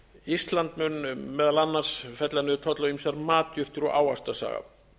ísland mun meðal annars fella niður tolla á ýmsar matjurtir og ávaxtasafa